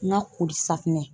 N ka koli safinɛ.